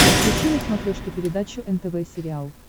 включи на смотрешке передачу нтв сериал